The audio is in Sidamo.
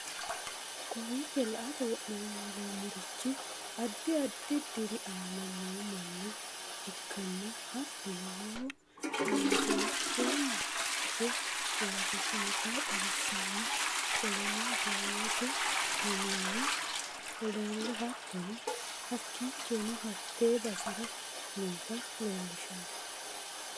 Kowichoo la'atte wonallomarichi addi addi diiri anna noo manna ekanna hattono lowoo matte miitenni ekitte urittinota xawissano qolleno buuyote miini na ellalu hattono hakichonno hatte baserra noota lelishanno